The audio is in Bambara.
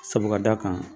Sabu ka d'a kan